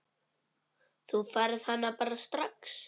Þú færð hana bara strax.